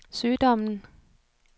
sygdommen